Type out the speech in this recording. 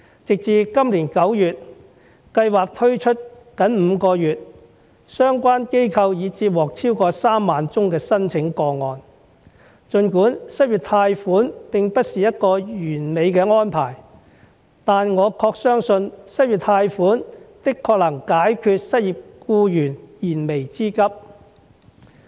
直至今年9月，計劃推出僅5個月，相關機構已接獲超過3萬宗的申請個案，儘管失業貸款並不是一個完美的安排，但我確信失業貸款的確能解決失業僱員燃眉之急。